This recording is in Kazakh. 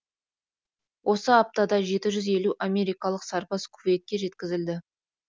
осы аптада жеті жүз елу америкалық сарбаз кувейтке жеткізілді